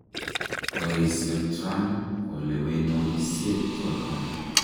Koesio Trump kolewenoisiek choton.